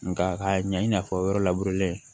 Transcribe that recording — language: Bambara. Nka k'a ɲɛ i n'a fɔ yɔrɔ